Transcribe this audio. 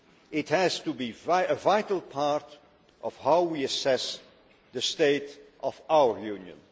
It has to be a vital part of how we assess the state of our Union.